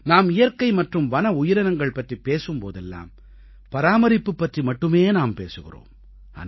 நாம் இயற்கை மற்றும் வன உயிரினங்கள் பற்றிப் பேசும் போதெல்லாம் பராமரிப்பு பற்றி மட்டுமே நாம் பேசுகிறோம்